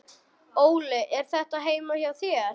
Óli: Er þetta heima hjá þér?